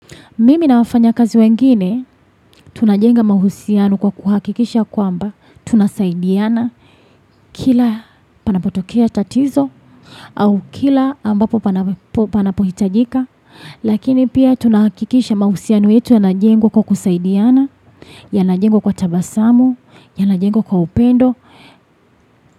Mimi na wafanya kazi wengine tunajenga mahusiano kwa kuhakikisha kwamba tunasaidiana kila panapotokea tatizo au kila ambapo panapohitajika lakini pia tunahakikisha mahusiano yetu yanajengwa kwa kusaidiana yanajengwa kwa tabasamu yanajengwa kwa upendo.